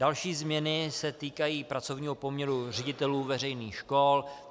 Další změny se týkají pracovního poměru ředitelů veřejných škol.